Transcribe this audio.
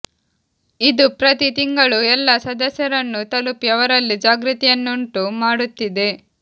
ಇದು ಪ್ರತಿ ತಿಂಗಳೂ ಎಲ್ಲ ಸದಸ್ಯರನ್ನೂ ತಲುಪಿ ಅವರಲ್ಲಿ ಜಾಗೃತಿಯನ್ನುಂಟು ಮಾಡುತ್ತಿದೆ